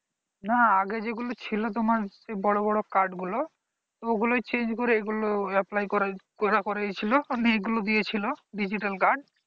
না আগে যেগুলো ছিল তোমার বড় বড় card গুলো ওগুলো change করে এগুলো apply করা হয়েছিল এগুলো দিয়েছিল digital card